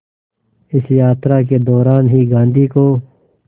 इस यात्रा के दौरान ही गांधी को